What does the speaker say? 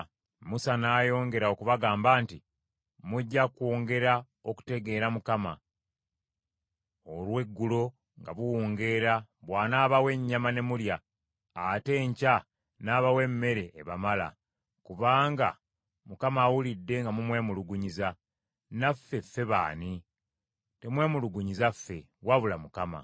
Musa n’ayongera okubagamba nti, “Mujja kwongera okutegeera Mukama , olweggulo nga buwungeera bw’anaabawa ennyama ne mulya, ate enkya n’abawa emmere ebamala: kubanga Mukama awulidde nga mumwemulugunyiza. Naffe ffe b’ani? Temwemulugunyiza ffe, wabula Mukama .”